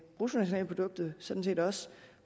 bruttonationalproduktet sådan set også